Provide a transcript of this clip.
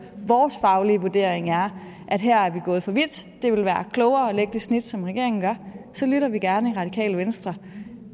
vores faglige vurdering er at her er vi gået for vidt det vil være klogere at lægge det snit som regeringen gør så lytter vi gerne i radikale venstre